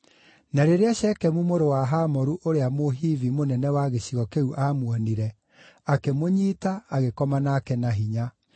Na rĩrĩa Shekemu mũrũ wa Hamoru ũrĩa Mũhivi, mũnene wa gĩcigo kĩu aamuonire, akĩmũnyiita, agĩkoma nake na hinya.